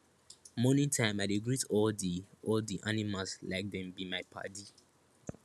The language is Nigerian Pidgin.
morning time i dey greet all di all di animals like dem be my padi